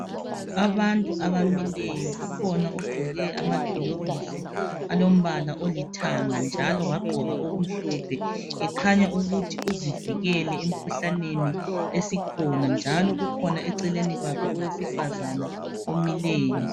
Abantu abamileyo, kukhona ogqoke amagilovisi alombala olithanga njalo wagqoka okumhlophe, ekhanya ukuthi uzivikele emkhuhlaneni esikhona njalo kukhona eceleni kwakhe owesifazana omileyo.